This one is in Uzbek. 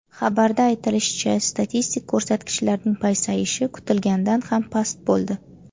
Xabarda aytilishicha, statistik ko‘rsatkichlarning pasayishi kutilganidan ham past bo‘ldi.